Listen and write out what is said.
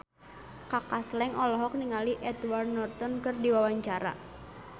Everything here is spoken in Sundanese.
Kaka Slank olohok ningali Edward Norton keur diwawancara